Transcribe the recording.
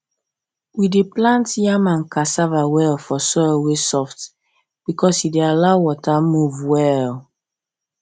we dey plant yam and cassava well for soil wey soft because e dey allow water move well